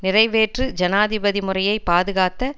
நிறைவேற்று ஜனாதிபதி முறையை பாதுகாத்த